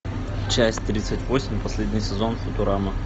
часть тридцать восемь последний сезон футурама